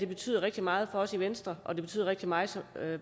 betyder rigtig meget for os i venstre og det betyder rigtig meget